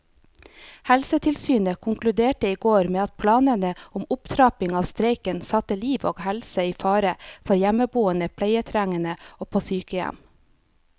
Helsetilsynet konkluderte i går med at planene om opptrapping av streiken satte liv og helse i fare for hjemmeboende pleietrengende og på sykehjem.